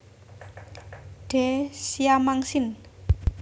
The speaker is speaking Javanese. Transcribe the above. D siamang sin